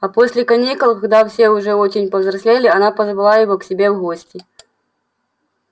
а после каникул когда все уже очень повзрослели она позвала его к себе в гости